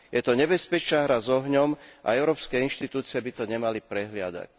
Je to nebezpečná hra s ohňom a európske inštitúcie by to nemali prehliadať.